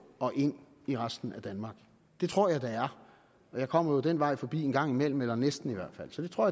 og ind i resten af danmark det tror jeg der er og jeg kommer jo den vej forbi en gang imellem eller næsten i hvert fald så det tror